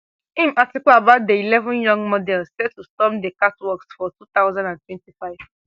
im article about di eleven young models set to storm di catwalks for two thousand and twenty-five